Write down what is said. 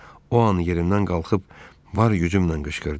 O an yerimdən qalxıb var gücümlə qışqırdım.